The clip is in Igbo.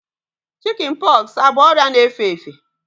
Chikin pọksi abụ ọrịa na-efe efe?